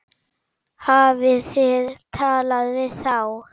Hafið þið talað við þá?